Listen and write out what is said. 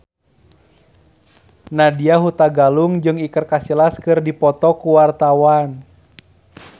Nadya Hutagalung jeung Iker Casillas keur dipoto ku wartawan